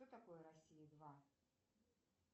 что такое россия два